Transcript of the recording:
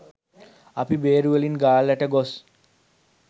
අපි බේරුවලින් ගාල්ලට ගොස්